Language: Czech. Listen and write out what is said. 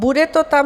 Bude to tam?